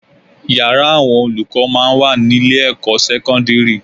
Yàrá àwọn olùkọ́ máa ń wà ní ilé-ẹ̀kọ́ sẹ́kọ́ndírì